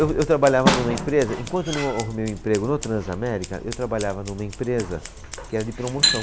Eu, eu trabalhava numa empresa, enquanto eu não a, arrumei o emprego no Transamérica, eu trabalhava numa empresa que era de promoção.